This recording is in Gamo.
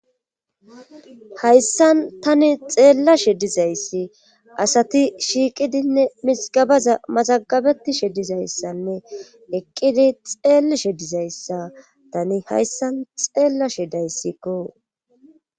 hayssan tani xeella she dizayssi asati shiiqidinne misigabaza masagabeti shedizayssanne eqqidi xeeli she dizayssa tani hayssan xeella shedayssikko